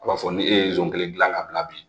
A b'a fɔ ni e ye zon kelen dilan ka bila bi